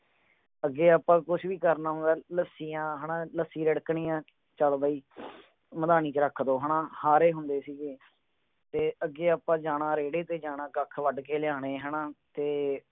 ਅਗੇ ਅਪਾ ਕੁਛ ਵੀ ਕਰਨਾ ਹੁੰਦਾ ਲੱਸੀਆਂ ਹੈਨਾ ਲੱਸੀ ਰਿੜਕਣੀ ਆ ਚਲ ਬਈ ਮੈਦਾਨੀ ਚ ਰੱਖ ਦਓ ਹੈਨਾ ਹਰੇ ਹੁੰਦੇ ਸੀਗੇ ਤੇ ਅੱਗੇ ਆਪਾਂ ਜਾਣਾ ਰੋਡੇ ਤੇ ਜਾਣਾ ਕੱਖ ਵੱਢ ਕੇ ਲਿਆਉਣਾ ਹੈਨਾ ਤੇ